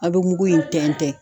A bɛ mugu in tɛntɛn.